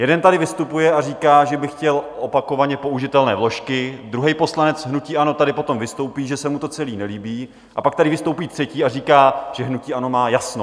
Jeden tady vystupuje a říká, že by chtěl opakovaně použitelné vložky, druhý poslanec hnutí ANO tady potom vystoupí, že se mu to celé nelíbí, a pak tady vystoupí třetí a říká, že hnutí ANO má jasno.